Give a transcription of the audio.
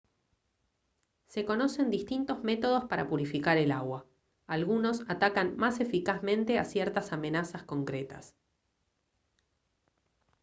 se conocen distintos métodos para purificar el agua algunos atacan más eficazmente a ciertas amenazas concretas